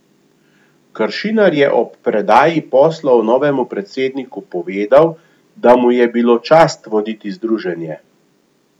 Kršinar je ob predaji poslov novemu predsedniku povedal, da mu je bilo čast voditi združenje.